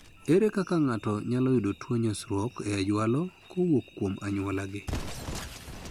Ere kaka ng'ato nyalo yudo tuo nyosruok e jwalo kowok kuom anyuolagi?